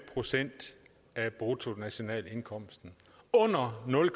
procent af bruttonationalindkomsten under nul